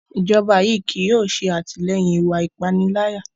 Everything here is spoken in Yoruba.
Ijọba yii kii yóò ṣe atilẹyin iwạ ipanilaya